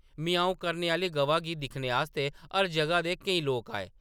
‘म्याऊं’ करने आह्‌ली गवा गी दिक्खने आस्तै हर जगह दे केईं लोक आए ।